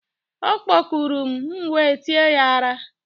ọ kpọkurum, m'we tie ya ara